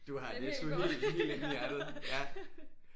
Du har Netto helt helt inde i hjertet ja